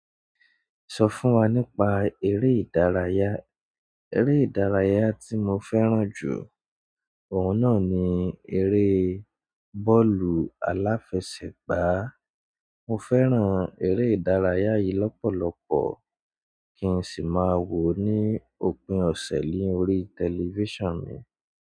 Sọ fún wa nípa eré ìdárayá. Eré ìdárayá tí mo fẹ́ràn jù, òun náà ni eré bọ́ọ̀lù aláfẹsẹ̀gbá. Mo fẹ́ràn eré ìdárayá yìí lọ́pọ̀lọpọ̀ kí n sì máa wò ó ní òpin ọ̀sẹ̀ ni órí tẹlifíṣàn mi.